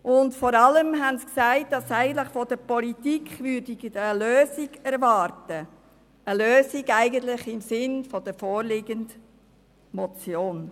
Vor allem sagten diese, dass sie eigentlich von der Politik eine Lösung erwarten würden, eine Lösung im Sinn der vorliegenden Motion.